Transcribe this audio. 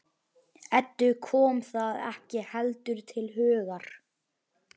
Eddu kom það ekki heldur til hugar.